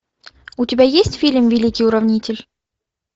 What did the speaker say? у тебя есть фильм великий уравнитель